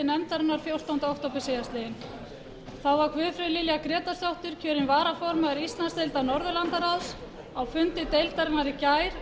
nefndarinnar fjórtánda október síðastliðinn þá var guðfríður lilja grétarsdóttir kjörin varaformaður íslandsdeildar norðurlandaráðs á fundi deildarinnar í gær